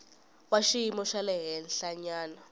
wa xiyimo xa le henhlanyana